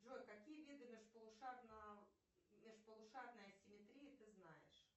джой какие виды межполушарной асимметрии ты знаешь